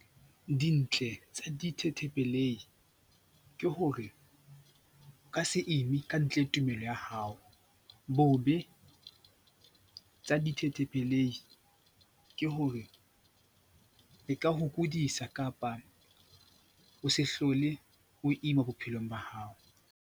Dintle tsa ke hore o ka se ime ka ntle tumelo ya hao. Bobe tsa ke hore di ka o kodisa kapa o se hlole o ima bophelong ba hao.